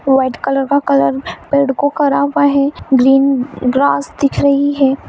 White colour का colour को करा हैं ग्रीन ग्रास दिख रही हैं।